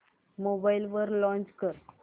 mobile वर launch कर